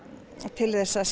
til þess að